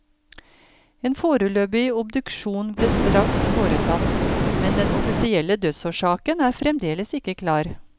En foreløpig obduksjon ble straks foretatt, men den offisielle dødsårsaken er fremdeles ikke klar.